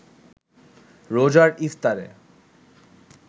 রোজার ইফতারে